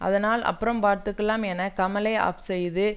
அதனால அப்புறம் பார்த்துக்கலாம் என கமலை ஆஃப் செய்தது